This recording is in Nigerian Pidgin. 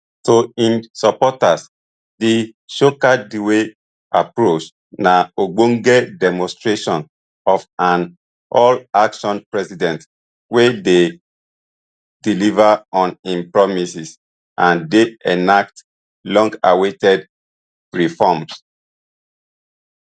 to im supporters di shockandawe approach na ogbonge demonstration of an all action president wey dey deliver on im promises and dey enact longawaited reforms